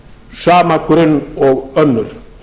sama grunn og önnur